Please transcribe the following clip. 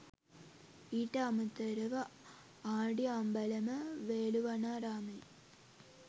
ඊට අමතරව ආඬිඅම්බලම වේළුවනාරාමයේ